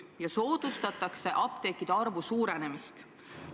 Ja soodustatakse apteekide arvu suurenemist.